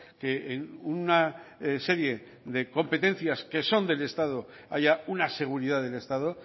que en una serie de competencias que son del estado haya una seguridad del estado